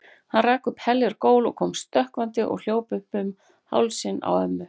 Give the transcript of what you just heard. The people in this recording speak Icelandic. Hann rak upp heljar gól og kom stökkvandi og hljóp upp um hálsinn á ömmu.